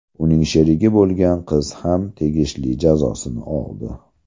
Uning sherigi bo‘lgan qiz ham tegishli jazosini oldi.